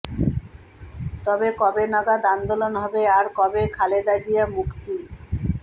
তবে কবে নাগাদ আন্দোলন হবে আর কবে খালেদা জিয়া মুক্তি